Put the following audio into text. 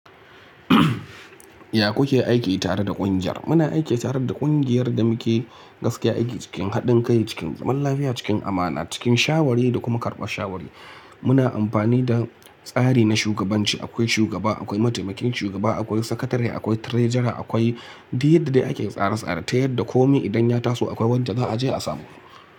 Ya ku ke aiki tare da ƙungiyar? Muna aiki tare da ƙungiyar da muke gaskiya aiki cikin haɗin kai, cikin zaman lafiya, cikin amana, cikin shawari da kuma karɓar shawari. Muna amfani da tsari na shugabanci. Akwai shugaba, akwai mataimakin shugaba, akwai sakatare, akwai trejara, akwai duk da ake tsare-tsare. Ta yadda kome idan ya taso akwai wanda za a je a samu.